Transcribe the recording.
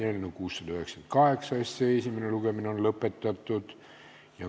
Eelnõu 698 esimene lugemine on lõpetatud.